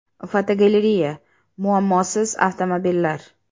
Fotogalereya: Muammosiz avtomobillar.